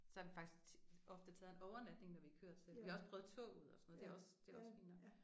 Så har vi faktisk ofte taget en overnatning når vi er kørt selv vi har også prøvet toget og sådan noget det er også det er også fint nok